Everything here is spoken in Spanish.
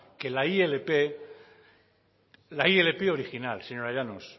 que la ilp original señora llanos